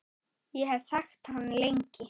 Ég hef þekkt hann lengi.